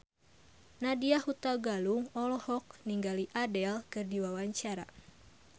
Nadya Hutagalung olohok ningali Adele keur diwawancara